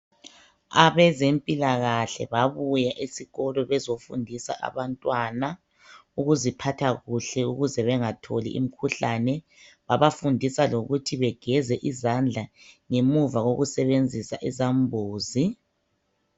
Abezempilakahle babuya esikolo bezofundisa abantwana ukuziphatha kuhle ukuze bangatholi imikhuhlane. Babafundisa lokuthi bageze izandla ngemva kokusebenzisa izambuzi.